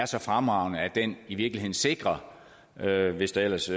så fremragende at den i virkeligheden sikrer det hvis der ellers